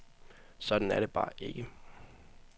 Sådan er det bare ikke.